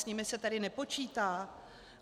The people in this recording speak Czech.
S nimi se tedy nepočítá?